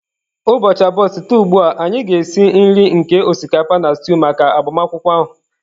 Ụbọchị abụọ site ugbu a, anyị ga-esi nri nke osikapa na stew maka agbamakwụkwọ ahụ